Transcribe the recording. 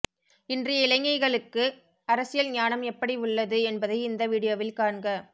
இன்றைய இளைஞகளுக்கு அரசியல் ஞானம் ஏப்படி உள்ளது என்பதை இந்த வீடியோவில் காண்க